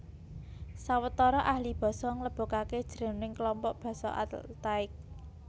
Sawetara ahli basa nglebokaké jroning klompok basa Altaik